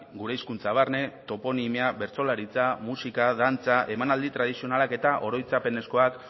gure hizkuntza barne toponimia bertsolaritza musika dantza emanaldi tradizionalak eta oroitzapenezkoak